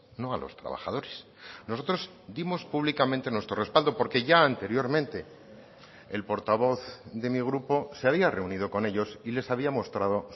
no a los trabajadores nosotros dimos públicamente nuestro respaldo porque ya anteriormente el portavoz de mi grupo se había reunido con ellos y les había mostrado